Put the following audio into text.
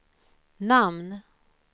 namn